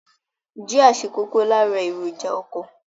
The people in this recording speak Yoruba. Jia ṣe kókó lára èròjà ọkọ.